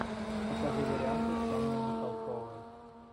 покажи варианты с анной михалковой